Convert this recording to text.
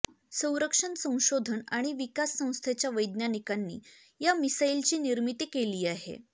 संरक्षण संशोधन आणि विकास संस्थेच्या वैज्ञानिकांनी या मिसाइलची निर्मिती केली आहे